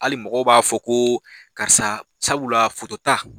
Hali mɔgɔw b'a fɔ ko karisa sabula foto ta.